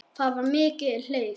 Það var mikið hlegið.